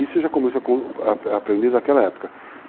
Isso eu já comecei a aprender naquela época.